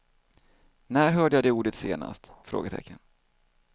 När hörde jag det ordet senast? frågetecken